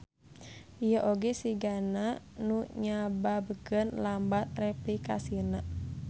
Ieu oge sigana nu nyababkeun lambat replikasina.